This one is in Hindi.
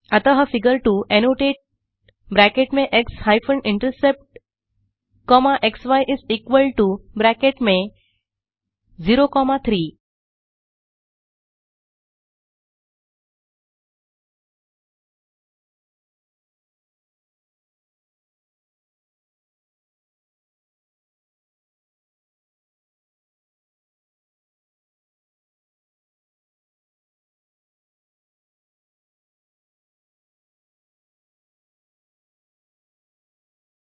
फिर फिगर 2 अतः फिगर 2 एनोटेट ब्रैकेट में एक्स हाइफेन इंटरसेप्ट कॉमा क्सी इस इक्वल टो ब्रैकेट में 0 कॉमा 3